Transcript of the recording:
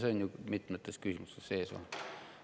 See on ju mitmetes küsimustes sees olnud.